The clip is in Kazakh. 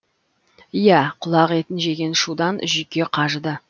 иә құлақ етін жеген шудан жүйке қажыды